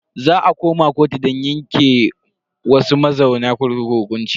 Za a koma kotu don yanke wasu mazauna kurkukun hukunci.